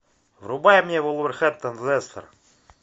врубай мне вулверхэмптон лестер